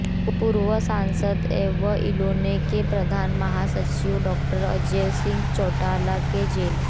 पूर्व सांसद एवं इनेलो के प्रधान महासचिव डॉ़ अजय सिंह चौटाला के जेल